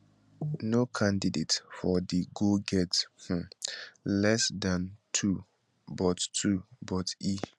no candidate for de go get um less dan two but two but e